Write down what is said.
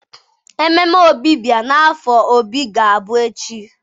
Ememe Ọbịbịa n' afo Obi ga-abụ echi.